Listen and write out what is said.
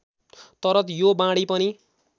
तर यो वाणी पनि